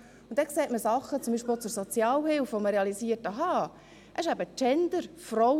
Dort sieht man Dinge, zum Beispiel zur Sozialhilfe, bei denen man realisiert, dass es um Genderfragen geht.